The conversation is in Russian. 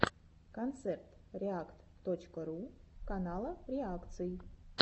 концерт реакт точка ру канала реакций